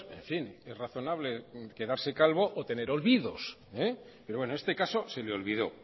en fin es razonable quedarse calvo o tener olvidos pero bueno en este caso se le olvidó